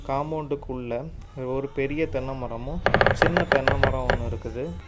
காம்பவுண்டுக்குள்ள ஒரு பெரிய தென்னை மரமு சின்ன தென்னை மரம் ஒன்னு இருக்குது.